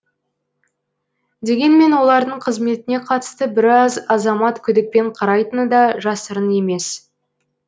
дегенмен олардың қызметіне қатысты біраз азамат күдікпен қарайтыны да жасырын емес